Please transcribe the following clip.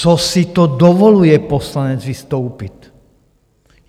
Co si to dovoluje poslanec vystoupit?